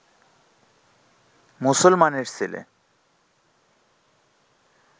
মুসলমানের ছেলে